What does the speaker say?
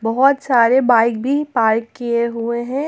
बहोत सारे बाइक भी पार्क किए हुए है।